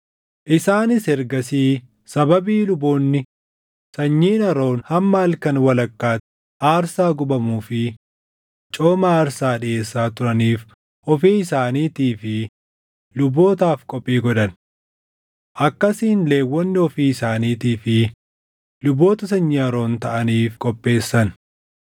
Isaanis ergasii sababii luboonni sanyiin Aroon hamma halkan walakkaatti aarsaa gubamuu fi cooma aarsaa dhiʼeessaa turaniif ofii isaaniitii fi lubootaaf qophii godhan. Akkasiin Lewwonni ofii isaaniitii fi luboota sanyii Aroon taʼaniif qopheessan.